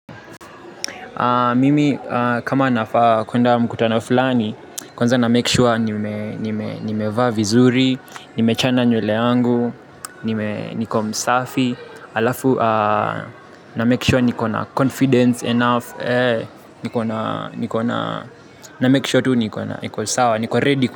Mimi kama nafaa kwenda mkutana fulani, kwanza na make sure nimevaa vizuri, nimechana nywele yangu, niko msafi, alafu na make sure niko na confidence enough, na make sure tu niko sawa, niko ready.